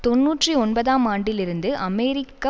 தொன்னூற்றி ஒன்பதாம் ஆண்டில் இருந்து அமெரிக்க